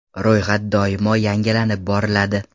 Ro‘yxat doimo yangilanib boriladi.